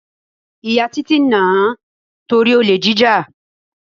Ìyá Títí nà-án torí olè jíjà.